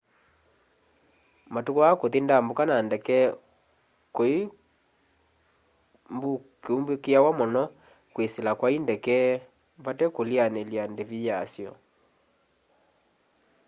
matuku aa kũthi ndambũka na ndeke kũimbukiawa muno kwisila kwa i ndeke vate kulianilya ndivi yasyo